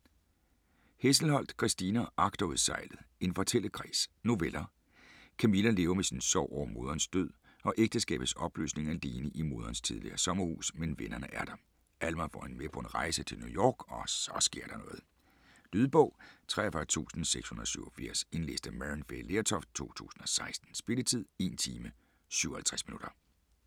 Hesselholdt, Christina: Agterudsejlet: en fortællekreds Noveller. Camilla lever med sin sorg over moderens død og ægteskabets opløsning alene i moderens tidligere sommerhus, men vennerne er der. Alma får hende med på en rejse til New York, og så sker der noget. Lydbog 43687 Indlæst af Maryann Fay Lertoft, 2016. Spilletid: 1 time, 57 minutter.